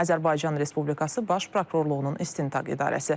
Azərbaycan Respublikası Baş Prokurorluğunun İstintaq İdarəsi.